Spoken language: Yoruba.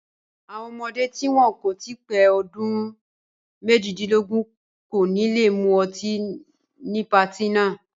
Àwọn ọmọdé tí wọn kò tí pé ọdún méjìdínlógún kò ní le mú ọtí ní patí náà.